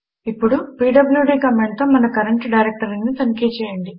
ఇప్పుడు పీడ్ల్యూడీ కమాండుతో మన కరంట్ డైరెక్టరీని తనిఖి చేయండి